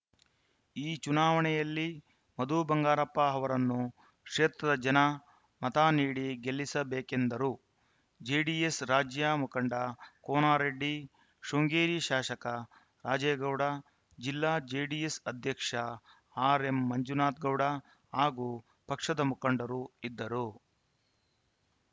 ಈ ಚುನಾವಣೆಯಲ್ಲಿ ಮಧು ಬಂಗಾರಪ್ಪ ಅವರನ್ನು ಕ್ಷೇತ್ರದ ಜನ ಮತ ನೀಡಿ ಗೆಲ್ಲಿಸಬೇಕೆಂದರು ಜೆಡಿಎಸ್‌ ರಾಜ್ಯ ಮುಖಂಡ ಕೋನರೆಡ್ಡಿ ಶೃಂಗೇರಿ ಶಾಸಕ ರಾಜೇಗೌಡ ಜಿಲ್ಲಾ ಜೆಡಿಎಸ್‌ ಅಧ್ಯಕ್ಷ ಆರ್‌ಎಂಮಂಜುನಾಥ ಗೌಡ ಹಾಗೂ ಪಕ್ಷದ ಮುಖಂಡರು ಇದ್ದರು